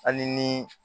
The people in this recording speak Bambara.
Hali ni